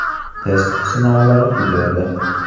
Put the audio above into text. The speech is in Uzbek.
Test sinovlari tugadi.